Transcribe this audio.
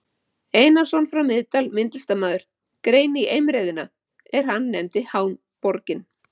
Einarsson frá Miðdal, myndlistarmaður, grein í Eimreiðina, er hann nefndi Háborgin.